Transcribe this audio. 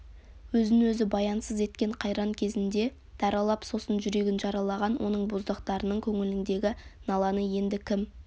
өзін өзі баянсыз еткен қайран кезінде даралап сосын жүрегін жаралаған оның боздақтарының көңіліндегі наланы енді кім